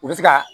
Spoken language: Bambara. U bɛ se ka